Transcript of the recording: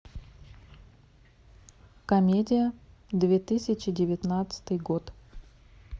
комедия две тысячи девятнадцатый год